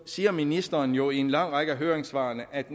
siger ministeren jo i en lang række af høringssvarene at